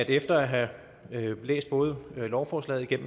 efter at jeg har læst både lovforslaget